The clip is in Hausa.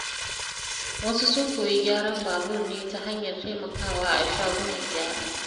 Wasu sun koyi gyaran babur ne ta hanyar taimakawa a shagunan gyara.